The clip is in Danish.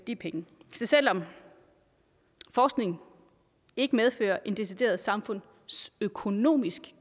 de penge så selv om forskning ikke medfører en decideret samfundsøkonomisk